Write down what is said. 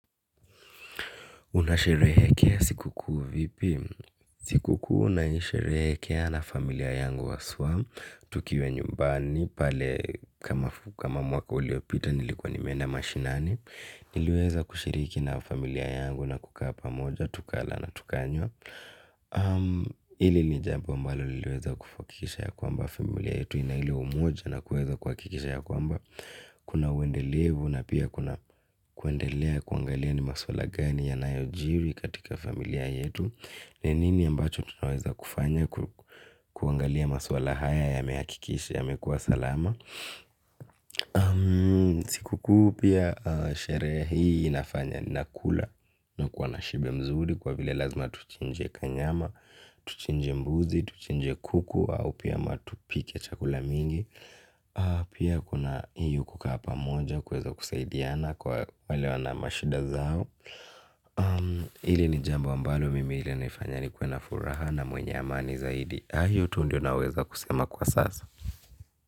Unasheherekea siku kuu vipi? Siku kuu naisherehekea na familia yangu haswaa, tukiwe nyumbani, pale kama mwaka uliopita nilikuwa nimeenda mashinani, niliweza kushiriki na familia yangu na kukaa pamoja, tukala na tukanywa. Hili ni jambo mbalo liliweza kuhakikisha ya kwamba familia yetu ina ili umoja na kuweza kuhakikisha ya kwamba kuna uendelevu na pia kuendelea kuangalia ni maswala gani ya nayo jiri katika familia yetu. Ni nini ambacho tunawaza kufanya kuangalia maswala haya yamehakikisha yamekua salama. Siku kuu pia sherehe hii inafanya nakula na kuwa na shibe mzuri kwa vile lazima tuchinje kanyama tuchinje mbuzi, tuchinje kuku, au pia tupike chakula mingi. Pia kuna hiyo kukaa pamoja. Kuweza kusaidiana kwa wale wana mashida zao. Hili ni jambo ambalo mimi ilinifanya nikuwe na furaha na mwenye amani zaidi. Ah hiyo tu ndio naweza kusema kwa sasa.